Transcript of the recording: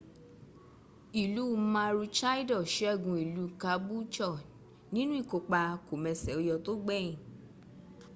ìlú maroochydore sẹ́gun ìlú caboolture nínú ìkópa kòmẹsẹ̀óyọ tó gbẹ̀yìn